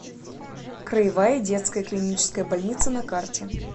краевая детская клиническая больница на карте